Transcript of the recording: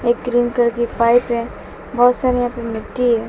एक green colour की pipe है बहोत सारी यहां पे मिट्टी है।